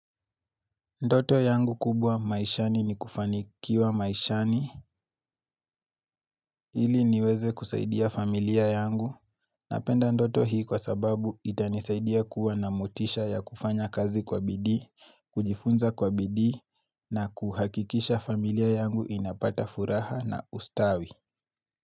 Ndoto yangu kubwa maishani ni kufanikiwa maishani ili niweze kusaidia familia yangu napenda ndoto hii kwa sababu itanisaidia kuwa na motisha ya kufanya kazi kwa bidi, kujifunza kwa bidii na kuhakikisha familia yangu inapata furaha na ustawi.